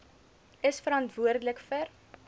is verantwoordelik vir